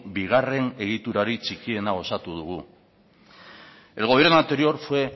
bigarren egiturarik txikiena osatu dugu el gobierno anterior fue